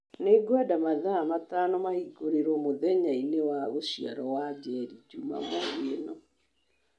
nĩ ngwenda mathaa matano mahingũrĩrwo mũthenya-inĩ wa gũciarwo wa njeri njumamothi ĩno